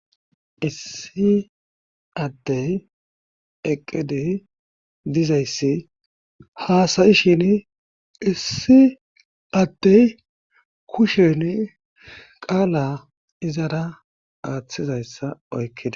issi addey eqqidi dizayssi haasayishin issi addey kushen qaala izara aaththizayssa oykkida